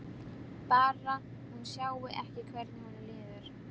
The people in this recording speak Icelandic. Bara hún sjái ekki hvernig honum líður.